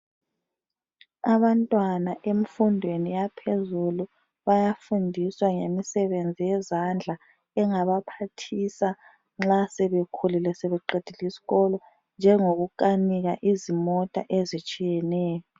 Abantwana emfundweni yaphezulu bayafundiswa ngemisebenzi yezandla engabaphathisa nxa sebekhulile sebeqedile isikolo njengokukanika izimota ezitshiyeneyo.